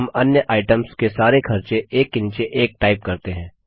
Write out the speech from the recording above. अब हम अन्य आइटम्स के सारे खर्चे एक के नीचे एक टाइप करते हैं